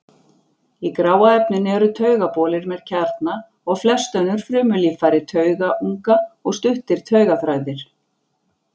Í gráa efninu eru taugabolir með kjarna og flest önnur frumulíffæri taugunga og stuttir taugaþræðir.